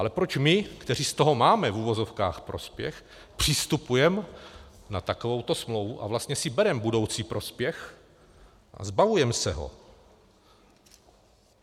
Ale proč my, kteří z toho máme v uvozovkách prospěch, přistupujeme na takovouto smlouvu a vlastně si bereme budoucí prospěch a zbavujeme se ho?